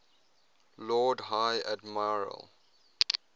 lord high admiral